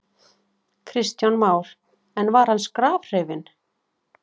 Kristján Már: En var hann skrafhreifinn?